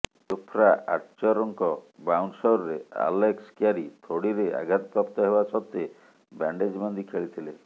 Jofra ଆର୍ଚରଙ୍କ ବାଉନ୍ସରରେ Alex Carey ଥୋଡ଼ିରେ ଆଘାତପ୍ରାପ୍ତ ହେବା ସତ୍ତ୍ବେ ବ୍ୟାଣ୍ଡେଜ୍ ବାନ୍ଧି ଖେଳିଥିଲେ